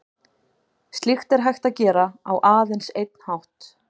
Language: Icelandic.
Slíkt er hægt að gera á aðeins einn hátt.